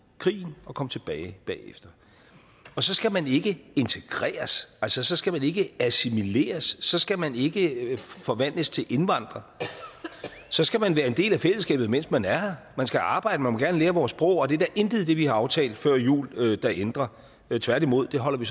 krigen og kom tilbage bagefter så skal man ikke integreres altså så skal man ikke assimileres så skal man ikke forvandles til indvandrer så skal man være en del af fællesskabet mens man er her man skal arbejde man må gerne lære vores sprog og det er der intet i det vi har aftalt før jul der ændrer tværtimod det holder vi